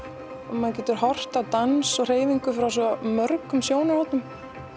maður getur horft á dans og hreyfingu frá svo mörgum sjónarhornum